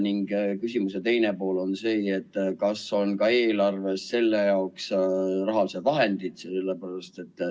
Ning küsimuse teine pool on see, et kas eelarves on selle jaoks ka rahalised vahendid.